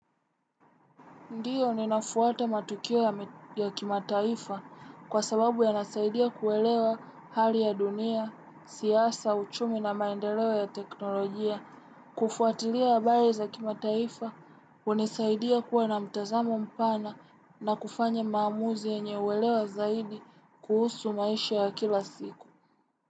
Ndiyo ninafuata matukia ya kimataifa kwa sababu ya nasaidia kuelewa hali ya dunia, siasa, uchumi na maendelewa ya teknolojia. Kufuatilia habari ya kimataifa, hunisaidia kuwa na mtazamo mpana na kufanya maamuzi yenye uwelewa zaidi kuhusu maisha ya kila siku.